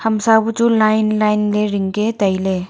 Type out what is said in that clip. kamsa buchu line line ring ke tai ley.